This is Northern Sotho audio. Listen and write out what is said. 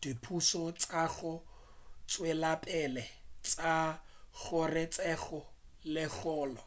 dipušo tša go tšwelapele tša kgorotseko ye kgolo